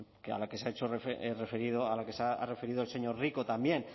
a la que se ha referido el señor rico también